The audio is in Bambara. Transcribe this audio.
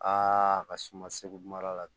Aa a ka si ma segu mara la